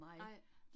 Nej